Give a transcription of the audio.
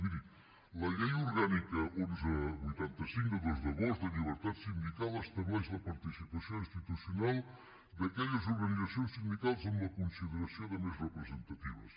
miri la llei orgànica onze vuitanta cinc de dos d’agost de llibertat sindical estableix la participació institucional d’aquelles organitzacions sindicals amb la consideració de més representatives